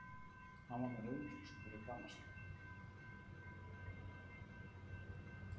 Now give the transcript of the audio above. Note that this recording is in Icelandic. Hann var með rauðvínsflösku fyrir framan sig.